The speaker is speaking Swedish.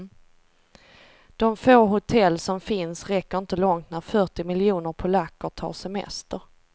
De få hotell som finns räcker inte långt när fyrtio miljoner polacker tar semester.